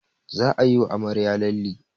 Za ayi wa amarya lalle